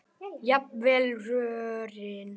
jafnvel rörin.